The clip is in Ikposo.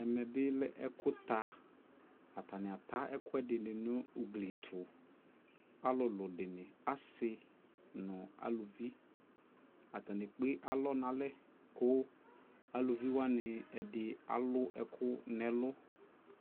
ɛmɛbbi lɛ ɛkʋ ta, atani ata ɛkʋɛ dini nʋ ʋgli ɛtʋ, alʋlʋ dini asii nʋ alʋvi, atani ɛkpɛ alɔ nʋ alɛ kʋ alʋvi wani ɛdi alʋ ɛkʋ nʋ ɛlʋ